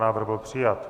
Návrh byl přijat.